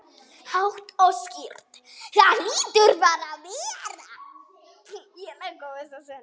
Það hlýtur bara að vera.